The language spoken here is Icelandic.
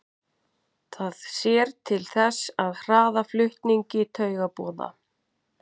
Það sér til þess að hraða flutningi taugaboða.